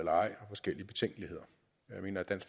eller ej jeg mener at